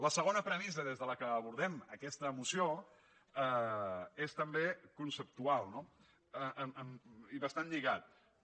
la segona premissa des de la qual abordem aques·ta moció és també conceptual no i bastant lliga·da